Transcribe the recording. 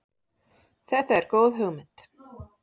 Þetta er góð hugmynd.